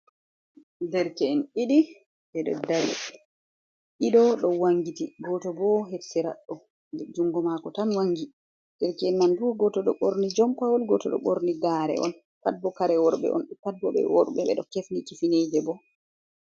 Ɗerke’en ɗiɗi be ɗo dari. Ɗido ɗo wangiti goto bo her siraɗo jungo mako tan wangi. Ɗerke'en man bo goto ɗo borni jompawol. Goto ɗo borni gare on. Pat bo kare worbe on. Pat bo be worbe. be ɗo kefni kifinije bo.